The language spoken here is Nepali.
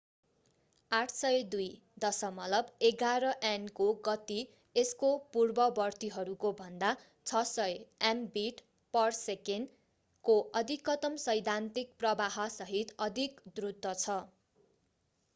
802.11n को गति यसको पूर्ववर्तीहरूको भन्दा 600mbit/s को अधिकतम सैद्धान्तिक प्रवाहसहित अधिक द्रुत छ।